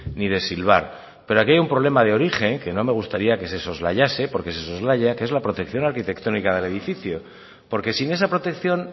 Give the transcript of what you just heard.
ni de silbar pero aquí hay un problema de origen que no me gustaría que se soslayase porque se soslaya que es la protección arquitectónica del edificio porque sin esa protección